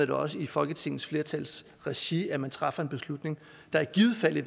det også i folketingets flertals regi at man træffer en beslutning der i givet fald